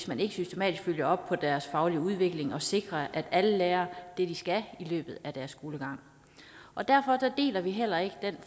man ikke systematisk følger op på deres faglige udvikling for at sikre at alle lærer det de skal i løbet af deres skolegang derfor deler vi heller ikke den